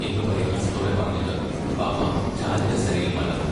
എന്നു പരിഹാസത്തോടെ പറഞ്ഞിട്ട് ബാപ്പാ ചാരുകസേരയിൽ മലർന്നു.